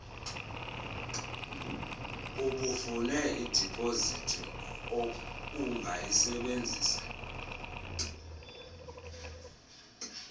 ubufune idipozithi ungayisebenzisa